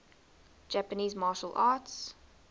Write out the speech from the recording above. japanese martial arts